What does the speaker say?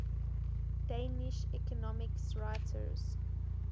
danish economics writers